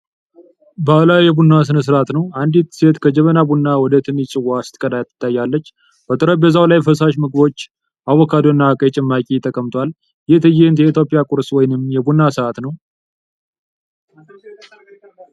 ባህላዊ የቡና ሥነ ሥርዓት ነው። አንዲት ሴት ከጀበና ቡና ወደ ትንሽ ጽዋ ስትቀዳ ትታያለች። በጠረጴዛው ላይ ፈሳሽ ምግቦች (ፉል ወይም ተመሳሳይ)፣ አቮካዶ እና ቀይ ጭማቂ ተቀምጧል። ይህ ትዕይንት የኢትዮጵያ ቁርስ ወይም የቡና ሰዓት ነው።